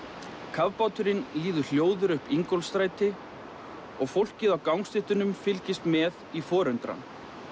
kafbáturinn líður hljóður upp Ingólfsstræti og fólkið á gangstéttunum fylgist með í forundran